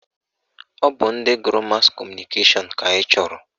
Ọ bụ ndị gụrụ mas kọmụnikeshọn ka anyị chọrọ